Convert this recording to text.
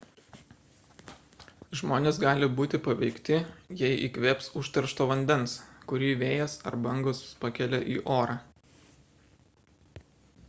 žmonės gali būti paveikti jei įkvėps užteršto vandens kurį vėjas arba bangos pakelia į orą